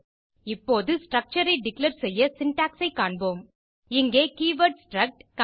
இப்போது ஸ்ட்ரக்சர் ஐ டிக்ளேர் செய்ய சின்டாக்ஸ் ஐ காண்போம் இங்கே கீவர்ட் ஸ்ட்ரக்ட்